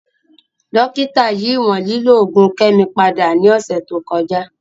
Dokita yi iwọn lilo oogun Kemi pada ni ọsẹ to kọja.